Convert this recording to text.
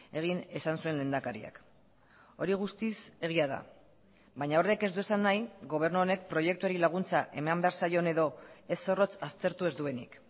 egin esan zuen lehendakariak hori guztiz egia da baina horrek ez du esan nahi gobernu honek proiektuari laguntza eman behar zaion edo ez zorrotz aztertu ez duenik